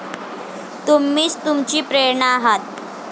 तुम्हीच तुमची प्रेरणा आहात.